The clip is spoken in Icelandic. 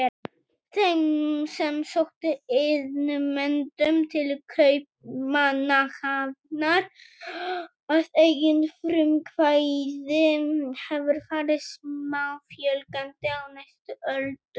Þeim sem sóttu iðnmenntun til Kaupmannahafnar að eigin frumkvæði hefur farið smáfjölgandi á næstu öldum.